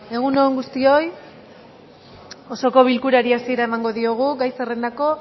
egun on guztioi osoko bilkurari hasiera emango diogu gai zerrendako